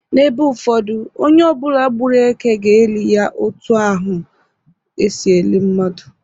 N'ebe ụfọdụ, onye ọbụla gbụrụ èkè ga-eli ya otu ahụ esi eli mmadu.